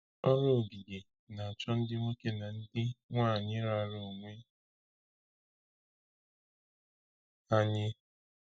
Ọrụ ogige na-achọ ndị nwoke na ndị nwanyị raara onwe ha nye.